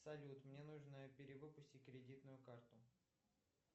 салют мне нужно перевыпустить кредитную карту